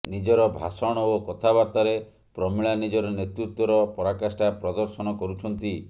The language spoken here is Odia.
ନିଜର ଭାଷଣ ଓ କଥାବାର୍ତ୍ତାରେ ପ୍ରମିଳା ନିଜର ନେତୃତ୍ବର ପରାକାଷ୍ଠା ପ୍ରଦର୍ଶନ କରୁଛନ୍ତି